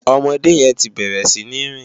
Òmòdé yèn ti bèrè si ni rin